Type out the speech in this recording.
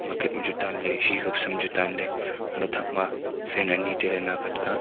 bucket ma chu tanley hee ka sam chu tanley haley thakma fan ani tailey nakhet ka.